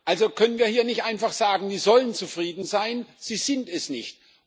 Also können wir hier nicht einfach sagen Sie sollen zufrieden sein sie sind es nicht.